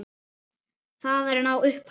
Það er há upphæð.